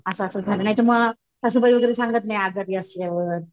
असं असं झालंय नाहीतर मग सासूबाई वगैरे सांगत नाही आजारी असल्यावर.